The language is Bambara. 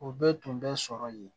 O bɛɛ tun bɛ sɔrɔ yen